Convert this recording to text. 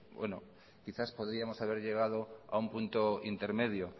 bueno quizá podríamos haber llegado a un punto intermedio